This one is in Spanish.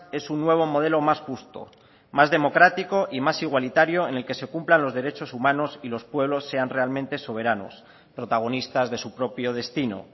es un nuevo modelo más justo más democrático y más igualitario en el que se cumplan los derechos humanos y los pueblos sean realmente soberanos protagonistas de su propio destino